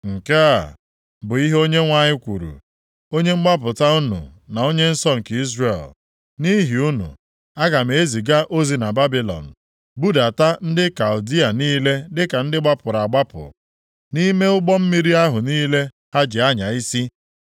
Nke a bụ ihe Onyenwe anyị kwuru, Onye mgbapụta unu na Onye nsọ nke Izrel. “Nʼihi unu, aga m eziga ozi na Babilọn budata ndị Kaldịa niile dịka ndị gbapụrụ agbapụ, nʼime ụgbọ mmiri ahụ niile ha ji anya isi.